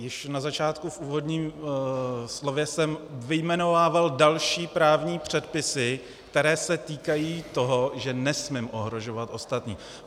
Již na začátku v úvodním slově jsem vyjmenovával další právní předpisy, které se týkají toho, že nesmím ohrožovat ostatní.